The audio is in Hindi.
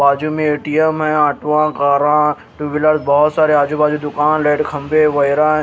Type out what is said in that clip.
बाजू में ए_टी_एम है ऑटो ह कारा टू व्हीलर बोहोत सारे आजू बाजू दुकान रेड खंभे वैगैरह--